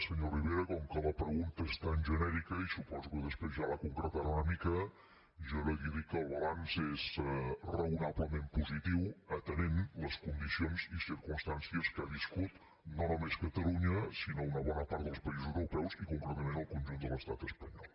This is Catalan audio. senyor rivera com que la pregunta és tan genèrica i suposo que després ja la concretarà una mica jo li dic que el balanç és raonablement positiu atenent les condicions i circumstàncies que ha viscut no només catalunya sinó una bona part dels països europeus i concretament el conjunt de l’estat espanyol